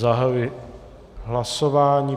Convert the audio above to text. Zahajuji hlasování.